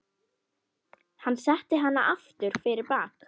Hann setti hana aftur fyrir bak.